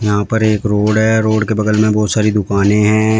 यहां पर एक रोड है रोड के बगल में बहुत सारी दुकानें हैं।